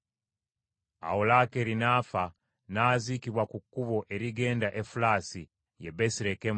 Awo Laakeeri n’afa n’aziikibwa ku kkubo erigenda Efulasi (ye Besirekemu).